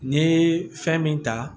N'i ye fɛn min ta